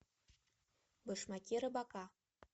башмаки рыбака